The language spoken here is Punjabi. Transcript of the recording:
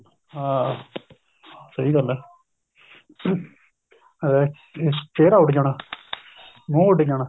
ਹਾਂ ਸਹੀ ਗੱਲ ਹੈ ਅਹ ਚਿਹਰਾ ਉੱਡ ਜਾਣਾ ਮੂੰਹ ਉੱਡ ਜਾਣਾ